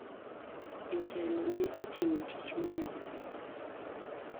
Jotelo ne otimo tich mowinjore.